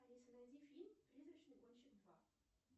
алиса найди фильм призрачный гонщик два